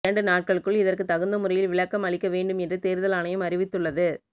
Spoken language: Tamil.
இரண்டு நாட்களுக்குள் இதற்கு தகுந்த முறையில் விளக்கம் அறிக்க வேண்டும் என்று தேர்தல் ஆணையம் அறிவித்துள்ளது